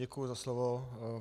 Děkuji za slovo.